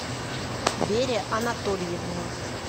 вере анатольевне